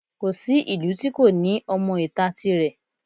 Kò sí ìlú tí kò ní ọmọ ìta tirẹ̀